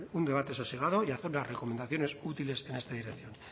un debate sosegado y hacer unas recomendaciones útiles en esta dirección